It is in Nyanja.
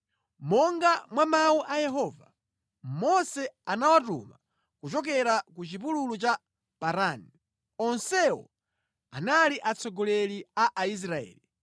Monga mwa mawu a Yehova, Mose anawatuma kuchokera ku chipululu cha Parani. Onsewo anali atsogoleri a Aisraeli.